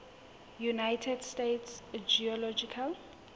united states geological